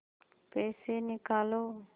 पैसे निकालो